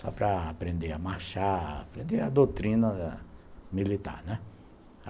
Só para aprender a marchar, aprender a doutrina militar, né.